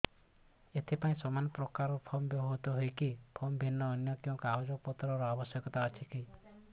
ଏଥିପାଇଁ ସମାନପ୍ରକାର ଫର୍ମ ବ୍ୟବହୃତ ହୂଏକି ଫର୍ମ ଭିନ୍ନ ଅନ୍ୟ କେଉଁ କାଗଜପତ୍ରର ଆବଶ୍ୟକତା ରହିଛିକି